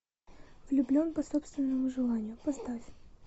влюблен по собственному желанию поставь